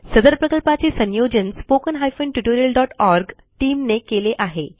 सदर प्रकल्पाचे संयोजन spoken tutorialओआरजी टीम ने केले आहे